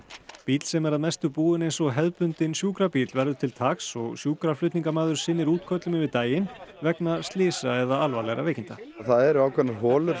bíll sem er mestu búinn eins og hefðbundinn sjúkrabíll verður til taks og sjúkraflutningamaður sinnir útköllum yfir daginn vegna slysa eða alvarlegra veikinda það eru ákveðnar holur